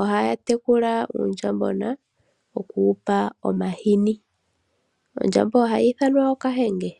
ohaya tekula uundjambona oku wupa omahini, ondjamba ohayi ithanwa okahenge.